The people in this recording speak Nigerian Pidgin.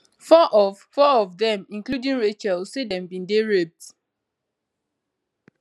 four of four of dem including rachel say dem bin dey raped